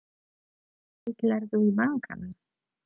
Ætlarðu í bankann?